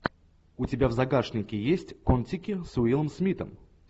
у тебя в загашнике есть кон тики с уиллом смитом